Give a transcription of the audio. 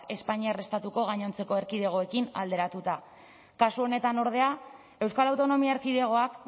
espainiar estatuko gainontzeko erkidegoekin alderatuta kasu honetan ordea euskal autonomia erkidegoak